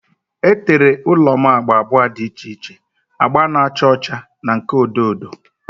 E tere ụlọ m agba abụọ dị iche iche, agba na-acha ọcha na nke odo odo.